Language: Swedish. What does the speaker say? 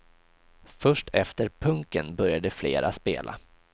Först efter punken började flera spela.